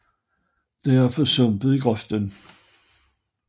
Der er for sumpet i grøften